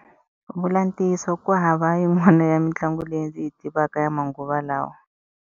Vula ntiyiso ku hava yin'wana ya mitlangu leyi ndzi yi tivaka ya manguva lawa.